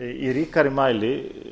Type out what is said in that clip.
í ríkari mæli